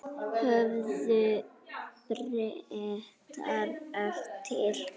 Höfðu Bretar eftir